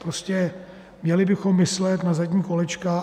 Prostě měli bychom myslet na zadní kolečka.